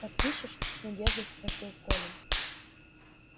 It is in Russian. подпишешь с надеждой спросил колин